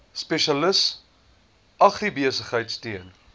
spesialis agribesigheid steun